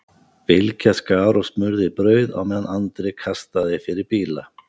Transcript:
Bylgja skar og smurði brauð á meðan Andri kastaði fyrir bíla.